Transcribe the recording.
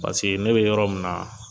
Paseke ne bɛ yɔrɔ min na